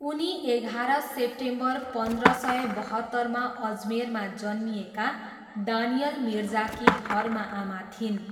उनी एघार सेप्टेम्बर पन्ध्र सय बहत्तरमा अजमेरमा जन्मिएका दानियल मिर्जाकी धर्म आमा थिइन्।